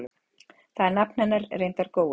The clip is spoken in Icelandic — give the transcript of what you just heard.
Þar er nafn hennar reyndar Gói.